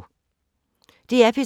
DR P3